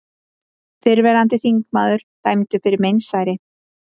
Fyrrverandi þingmaður dæmdur fyrir meinsæri